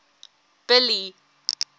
billy